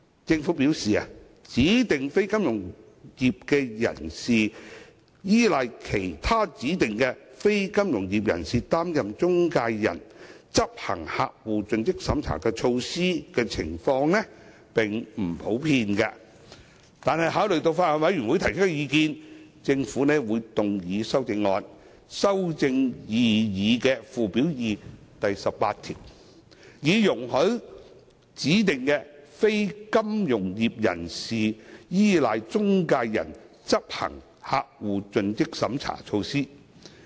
政府表示，指定非金融業人士依賴其他指定非金融業人士擔任中介人執行客戶盡職審查措施的情況並不普遍，但考慮到法案委員會提出的意見，政府會動議修正案修訂擬議的附表2第18條，以容許指定非金融業人士依賴中介人執行客戶盡職審查措施。